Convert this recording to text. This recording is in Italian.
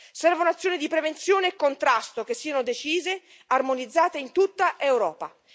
Servono azioni di prevenzione e contrasto che siano decise e armonizzate in tutta Europa.